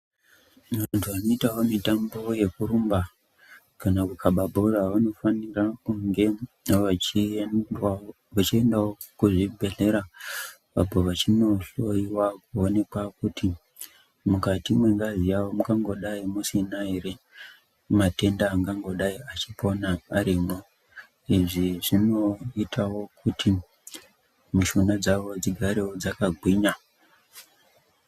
Vanthu vanoitawo mitambo yekurumba kana kukhaba bhora, vanofanira kunge vachiendawo kuzvibhedhlera, apo vachinohloiwa kuonekwa kuti mukati mwengazi yawo mungangodai musina ere matenda anopona arimwo? Izvi zvinoitawo, kuti mishuna dzavo dzigare dzakagwinya.